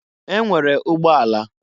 E nwere ụgbọ ala.